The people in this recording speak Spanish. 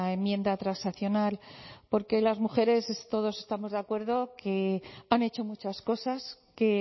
enmienda transaccional porque las mujeres todos estamos de acuerdo que han hecho muchas cosas que